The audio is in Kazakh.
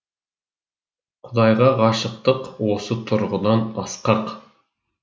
құдайға ғашықтық осы тұрғыдан асқақ